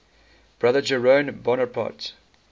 brother jerome bonaparte